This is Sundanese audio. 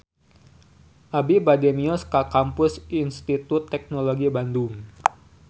Abi bade mios ka Kampus Institut Teknologi Bandung